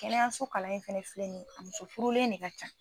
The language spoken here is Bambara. Kɛnɛyaso kalan in fɛnɛ filɛ ni ye, a muso furulen de ka ca.